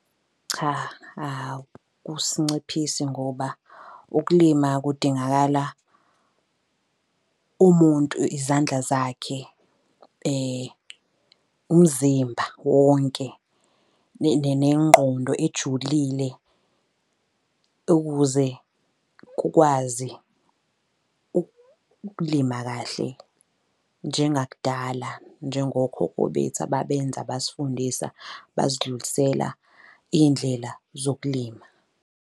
Cha, akusinciphisi ngoba ukulima kudingakala umuntu izandla zakhe, umzimba wonke, nengqondo ejulile, ukuze kukwazi ukulima kahle njengakudala. Njengokhokho bethu ababenza basifundisa basidlulisela iy'ndlela zokulima.